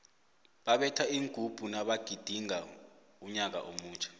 babetha iingubhu nabagidingaka unyaka omutjha